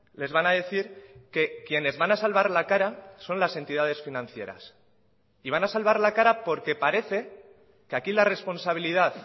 les van a decir que quienes van a salvar la cara son las entidades financieras y van a salvar la cara porque parece que aquí la responsabilidad